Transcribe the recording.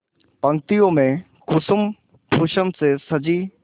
पंक्तियों में कुसुमभूषण से सजी